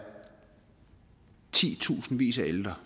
ti tusindvis af ældre